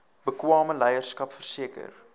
bekwame leierskap verseker